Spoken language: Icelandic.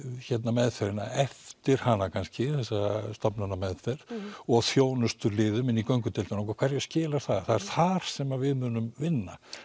meðferðina eftir hana kannski þessa stofnanameðferð og þjónustuliðum inn í göngudeildina okkar hverju skilar það það er þar sem við munum vinna